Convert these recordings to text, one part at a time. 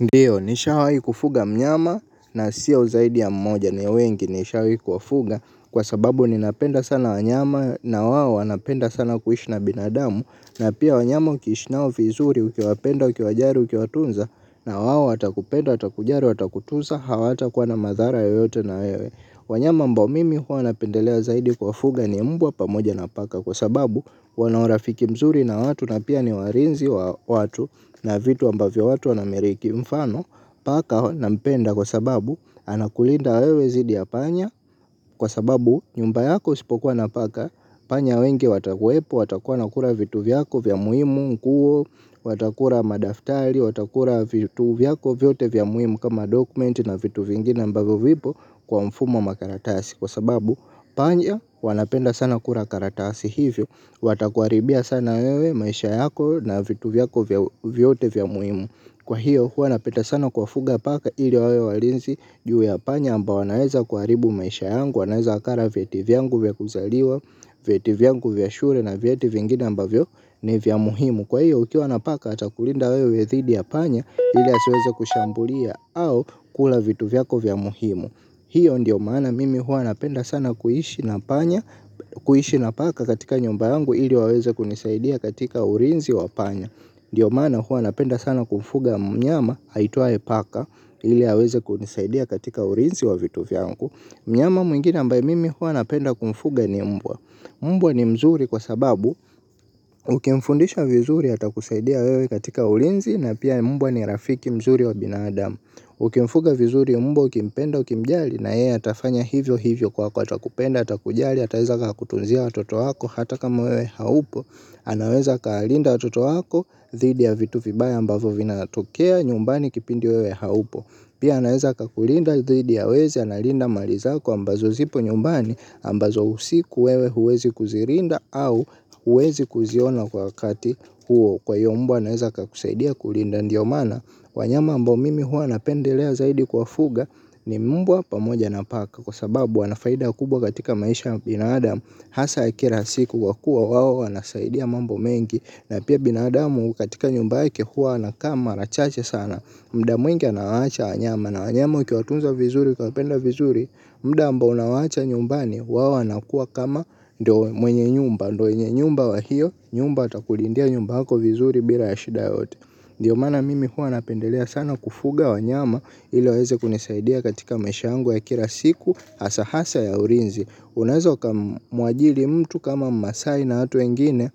Ndiyo nishawahi kufuga mnyama na siyo zaidi ya mmoja ni wengi nishawahi kuwafuga kwa sababu ninapenda sana wanyama na wao wanapenda sana kuishi na binadamu na pia wanyama ukiishi nao vizuri ukiwapenda ukiwajali ukiwatunza na wao watakupenda atakujali watakutunza hawatakuwa na madhara yoyote na wewe. Wanyama ambao mimi huwa napendelea zaidi kwafuga ni mbwa pamoja na paka kwa sababu wanao urafiki mzuri na watu na pia ni walinzi wa watu na vitu ambavyo watu wanamiliki mfano paka na mpenda kwa sababu anakulinda wewe dhidi ya panya kwa sababu nyumba yako usipokuwa na paka panya wengi wakuwepo watakuwa wanakula vitu vyako vya muhimu nguo watakula madaftari watakula vitu vyako vyote vya muhimu kama dokumenti na vitu vingine ambavyo vipo. Kwa mfumo wa makaratasi kwa sababu panya wanapenda sana kula karatasi hivyo. Watakuharibia sana wewe maisha yako na vitu vyako vyote vya umuhimu. Kwa hivyo huanapenda sana kwafuga paka ili wewe walinzi. Juu ya panya ambao wanaweza kuharibu maisha yangu. Wanaweza wakala vyeti vyangu vya kuzaliwa. Vyeti vyangu vya shule na vyeti vingine ambavyo ni vya muhimu. Kwa hivyo ukiwa na paka atakulinda wewe dhidi ya panya ili asiweze kushambulia au kula vitu vyako vya umuhimu. Hiyo ndiyo mana mimi huwa napenda sana kuishi na panya kuishi na paka katika nyumba yangu ili waweze kunisaidia katika ulinzi wa panya. Ndiyo mana huwa napenda sana kumfuga mnyama aitwaye paka ili aweze kunisaidia katika ulinzi wa vitu vyangu. Mnyama mwingine ambaye mimi huwa napenda kumfuga ni mbwa. Mbwa ni mzuri kwa sababu ukimfundisha vizuri ata kusaidia wewe katika ulinzi na pia mbwa ni rafiki mzuri wa binadamu. Ukimfuga vizuri mbwa ukimpenda ukimjali na yeye atafanya hivyo hivyo kwako atakupenda atakujali ataweza kakutunzia watoto wako hata kama wewe haupo anaweza kalinda watoto wako dhidi ya vitu vibaya ambavyo vinatokea nyumbani kipindi wewe haupo. Pia anaweza kakulinda dhidi ya wezi analinda mali zako ambazo zipo nyumbani ambazo usiku wewe huwezi kuzilinda au huwezi kuziona kwa wakati huo kwa hivyo mbwa anwaeza kakusaidia kulinda ndiyo maana. Wanyama ambao mimi huwa napendelea zaidi kwafuga ni mbwa pamoja na paka kwa sababu wanafaida kubwa katika maisha binadamu hasa ya kila siku kwa kuwa wawo wanasaidia mambo mengi. Na pia binadamu katika nyumba yake huwa anakaa mara chache sana. Muda mwingi anawaacha wanyama. Na wanyama ukiwatunza vizuri kwa upenda vizuri. Muda ambao unawaacha nyumbani wao wanakuwa kama mwenye nyumba. Ndiyo mwenye nyumba wa hiyo nyumba atakulindia nyumba hako vizuri bila ya shida yote. Ndiyo maana mimi huwa napendelea sana kufuga wanyama ili waweze kunisaidia katika maisha yangu ya kila siku. Hasa hasa ya ulinzi. Unaweza ukamwajiri mtu kama mmaasai na watu wengine.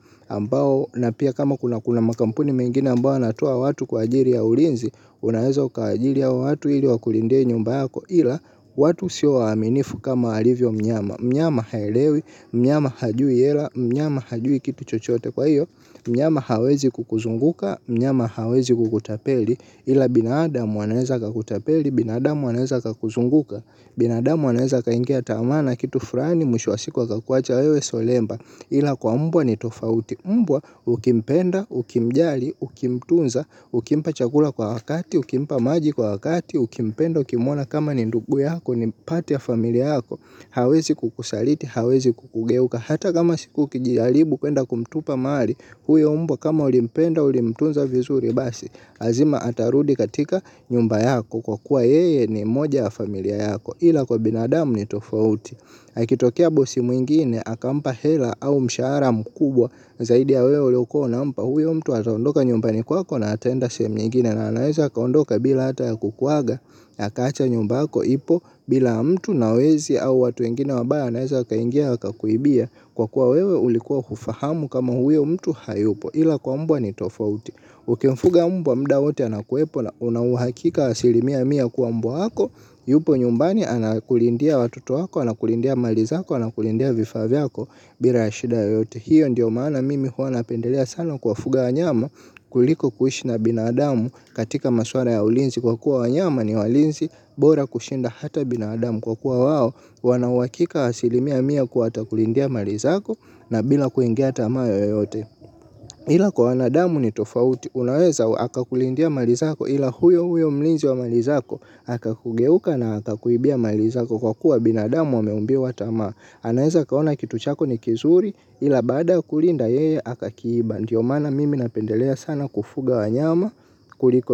Na pia kama kuna makampuni mengine ambao yanatoa watu kwa ajili ya ulinzi. Unaweza uka ajiri hawa watu ili wakulindie nyumba yako ila watu siwaaminifu kama alivyo mnyama. Mnyama hailewi, mnyama hajui hela, mnyama hajui kitu chochote kwa hivyo. Mnyama hawezi kukuzunguka, mnyama hawezi kukutapeli. Ila binadamu anaweza kakutapeli, binadamu anaweza kakuzunguka. Binadamu anaweza kaingia tamaa na kitu flani mwisho wa siku aweza kuacha wewe solemba ila kwa mbwa ni tofauti mbwa ukimpenda, ukimjali, ukimtunza, ukimpa chakula kwa wakati, ukimpa maji kwa wakati, ukimpenda, ukimwona kama ni ndugu yako ni upande ya familia yako. Hawezi kukusaliti, hawezi kukugeuka. Hata kama siku ukijaribu kwenda kumtupa mahali. Huyo mtu kama ulimpenda, ulimtunza vizuri basi lazima atarudi katika nyumba yako. Kwa kuwa yeye ni moja ya familia yako. Ila kwa binadamu ni tofauti akitokia bosi mwingine, akampa hela au mshahara mkubwa zaidi ya wewe uliyokuwa unampa huyo mtu ataondoka nyumbani kwako na ataenda sehemu nyengine. Na anaweza akaondoka bila ata ya kukuaga akaacha nyumbako ipo bila mtu na wezi au watu wengine wabaya naweza kaingia wakakuibia. Kwa kuwa wewe ulikuwa hufahamu kama huyo mtu hayupo ila kwa mbwa ni tofauti. Ukimfuga mbwa muda wote anakuwepo na unauhakika wasilimia mia kwambwa hako. Yupo nyumbani anakulindia watoto hako anakulindia mali zako anakulindia vifa vyako bila shida yeyote. Hiyo ndiyo maana mimi huwanapendelea sana kwafuga wanyama kuliko kuishi na binadamu katika maswara ya ulinzi kwa kuwa wanyama ni walinzi bora kushinda hata binadamu kwa kuwa wao wana uhakika asilimia mia kuwa watakulindia mali zako na bila kuingia tamaa yeyote ila kwa wanadamu ni tofauti unaweza akakulindia mali zako ila huyo huyo mlinzi wa mali zako akakugeuka na akakuibia malizako kwa kuwa binadamu wameumbiwa tamaa anaweza akaona kitu chako ni kizuri ila baada kulinda yeye akakiiba ndiyo maana mimi napendelea sana kufuga wanyama kuliko.